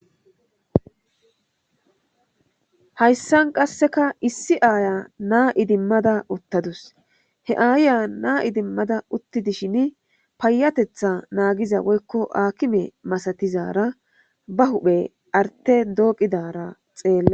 hayssan qasseka issi aaya naa idimmada uttadus he aaya naa idimmada uttidishin payatetha naagiza woykko aakime masatizara ba huphe arte dooqidara xeella